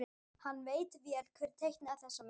Hann veit vel hver teiknaði þessa mynd.